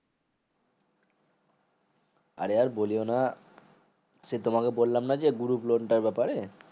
আরে আর বলিয়না সেই তোমাকে বললাম না যে group loan এর ব্যাপারে